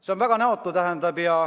See on väga näotu!